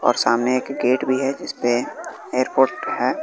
और सामने एक गेट भी है जिसपे एयरपोर्ट है।